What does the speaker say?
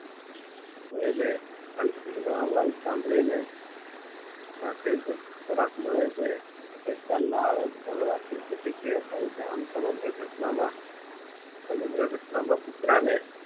મળી ને ઘંટડી નો અવાજ સાંભળી ને સાથેજ ખોરાક મળે છે લાળ જર્વાથી પ્રતિક્રિયા થાય છે આમ સમગ્ર ઘટના માં કુતરાને